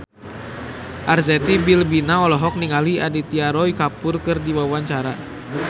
Arzetti Bilbina olohok ningali Aditya Roy Kapoor keur diwawancara